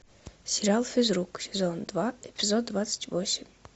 сериал физрук сезон два эпизод двадцать восемь